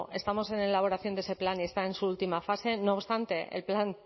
estamos en la elaboración de ese plan y está en su última fase no obstante el plan